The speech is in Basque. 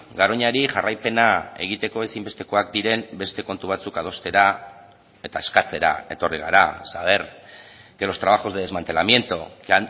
garoñari jarraipena egiteko ezinbestekoak diren beste kontu batzuk adostera eta eskatzera etorri gara saber que los trabajos de desmantelamiento que